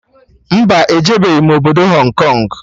Mba, ejebeghi m obodo Hong Kong